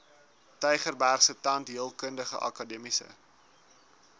tygerbergse tandheelkundige akademiese